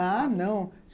Ah, não.